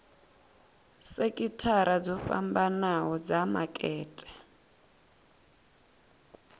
sekithara dzo fhambanho dza makete